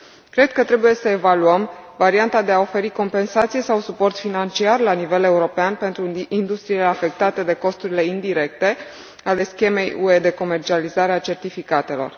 Cred că trebuie să evaluăm varianta de a oferi compensații sau suport financiar la nivel european pentru industriile afectate de costurile indirecte ale schemei UE de comercializare a certificatelor.